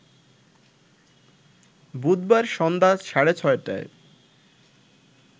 বুধবার সন্ধ্যা সাড়ে ছয়টায়